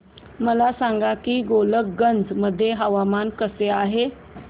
मला सांगा की गोलकगंज मध्ये हवामान कसे आहे